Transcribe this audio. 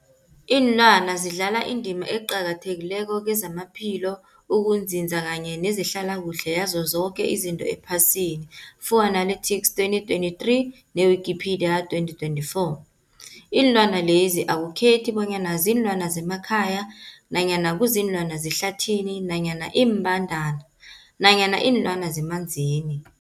Ilwana zidlala indima eqakathekileko kezamaphilo, ukunzinza kanye nezehlala kuhle yazo zoke izinto ephasini, Fuanalytics 2023, ne-Wikipedia 2024. Iinlwana lezi akukhethi bonyana ziinlwana zemakhaya nanyana kuziinlwana zehlathini nanyana iimbandana nanyana iinlwana zemanzini.